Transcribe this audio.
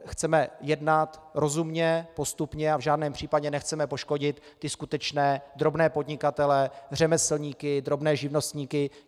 Chceme jednat rozumně, postupně a v žádném případě nechceme poškodit ty skutečné drobné podnikatele, řemeslníky, drobné živnostníky.